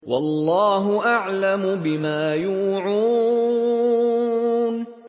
وَاللَّهُ أَعْلَمُ بِمَا يُوعُونَ